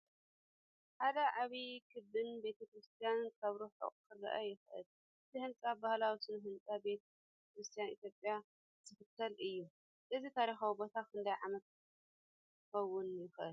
ሓደ ዓቢን ክቢን ቤተ ክርስቲያን ካብ ርሑቕ ክርአ ይከኣል። እቲ ህንጻ ባህላዊ ስነ ህንጻ ቤተ ክርስቲያን ኢትዮጵያ ዝኽተል እዩ። እዚ ታሪኻዊ ቦታ ክንደይ ዓመት ክኸውን ይኽእል?